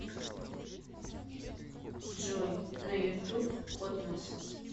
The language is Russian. джой на ютуб котмос